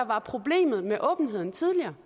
var problemet med åbenheden tidligere